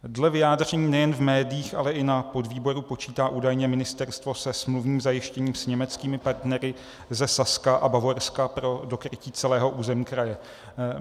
Dle vyjádření nejen v médiích, ale i na podvýboru počítá údajně ministerstvo se smluvním zajištěním s německými partnery ze Saska a Bavorska pro dokrytí celého území kraje.